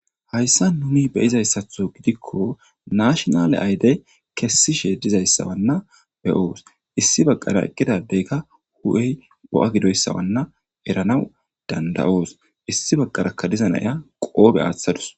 Hayssa nuni beyizayssatho gidikko nashonale aydey kessishe dizayssawanna beyoos issi baggara eqqidadeyka hu7ey bo7a gidoyssawanna eranaw danda7oos issi baggaraka dizanaya qoobe aaththadus.